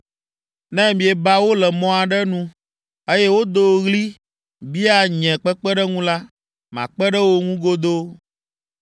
Ne mieba wo le mɔ aɖe nu, eye wodo ɣli bia nye kpekpeɖeŋu la, makpe ɖe wo ŋu godoo.